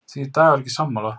Því er Dagur ekki sammála.